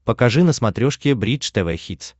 покажи на смотрешке бридж тв хитс